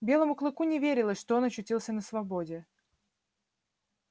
белому клыку не верилось что он очутился на свободе